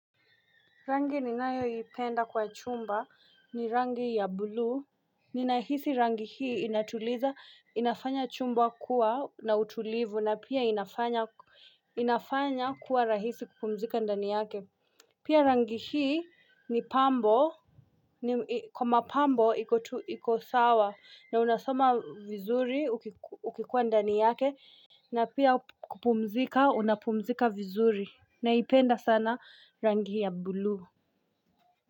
Rangi ninayoipenda kwa chumba ni rangi ya blue. Ninahisi rangi hii inatuliza inafanya chumba kuwa na utulivu na pia inafanya inafanya kuwa rahisi kupumzika ndani yake. Pia rangi hii ni pambo ni kwa mapambo iko sawa na unasoma vizuri ukikuwa ndani yake. Na pia kupumzika unapumzika vizuri naipenda sana rangi ya blue.